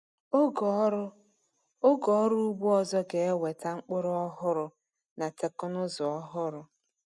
Oge ọrụ Oge ọrụ ugbo ọzọ ga-eweta mkpụrụ ọhụrụ na teknụzụ ọhụrụ.